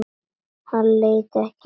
Hann leitar ekki að orðum.